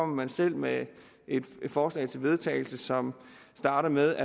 man selv med et forslag til vedtagelse som starter med